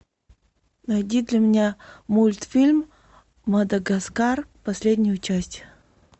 найди для меня мультфильм мадагаскар последнюю часть